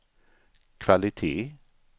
kvalitet